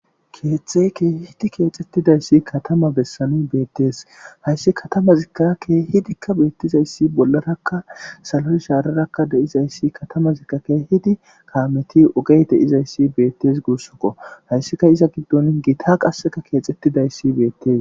keththey kehidi keexettidayssi katama bessani beettees hayssi katama zikakke hidikka beettizayssi bollarakka saloy shaarerakka de7izayssi katama zikkake hidi kaameti ogey deizayssi beettes guussokko hayssika iza giddon giita qasseka keexettidayssi beettes.